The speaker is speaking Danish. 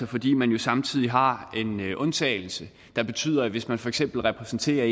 fordi man jo samtidig har en undtagelse der betyder at hvis man for eksempel repræsenterer